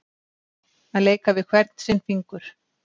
Að leika við hvern sinn fingur